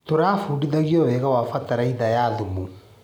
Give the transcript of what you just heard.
Tũrabundithirio wega wa bataraitha ya thumu.